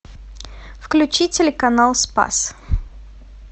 включи телеканал спас